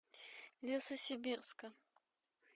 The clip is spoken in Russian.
лесосибирска